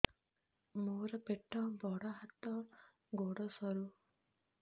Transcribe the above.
ମୋର ପେଟ ବଡ ହାତ ଗୋଡ ସରୁ